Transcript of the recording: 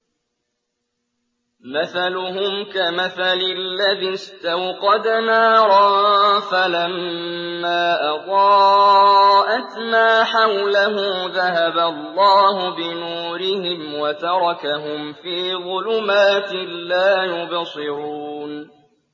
مَثَلُهُمْ كَمَثَلِ الَّذِي اسْتَوْقَدَ نَارًا فَلَمَّا أَضَاءَتْ مَا حَوْلَهُ ذَهَبَ اللَّهُ بِنُورِهِمْ وَتَرَكَهُمْ فِي ظُلُمَاتٍ لَّا يُبْصِرُونَ